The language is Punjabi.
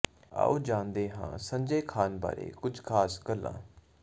ਆਓ ਜਾਣਦੇ ਹਾਂ ਸੰਜੈ ਖਾਨ ਬਾਰੇ ਕੁਝ ਖਾਸ ਗੱਲਾਂ